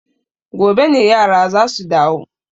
Gobe ne yara za su dawo.